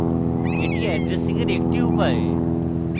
এটি addressing এর একটি উপায়